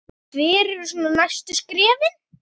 Hver eru svona næstu skrefin?